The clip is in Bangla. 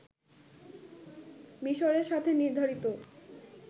মিশরের সাথে নির্ধারিত